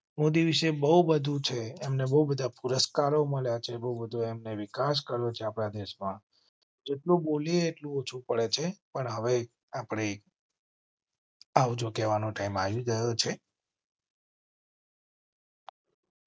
મોદી વિશે બહુ બધું છે. એમ ને બહુ બધા પુરસ્કારો મળ્યા છે. બહુ બધા વિકાસ કરો. આપણા દેશ માં જેટલું બોલીયે એટલું ઓછું પડે છે પણ હવે આપણે આવજો કહેવા નો ટાઇમ આવી ગયો છે.